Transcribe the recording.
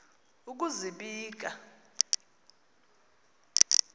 ukuzibika